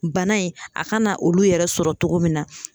Bana in, a kana olu yɛrɛ sɔrɔ cogo min na.